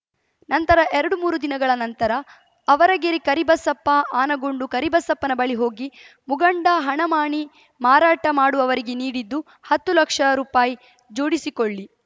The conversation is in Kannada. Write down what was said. ನಂತರ ಎರಡು ಮೂರು ದಿನಗಳ ನಂತರ ಅವರಗಿರಿ ಕರಿಬಸಪ್ಪ ಆನಗೊಂಡು ಕರಿಬಸಪ್ಪನ ಬಳಿ ಹೋಗಿ ಮುಂಗಡ ಹಣ ಮಾಣಿ ಮಾರಾಟ ಮಾಡುವವರಿಗೆ ನೀಡಿದ್ದು ಹತ್ತು ಲಕ್ಷ ರುಪಾಯಿ ಜೋಡಿಸಿಕೊಳ್ಳಿ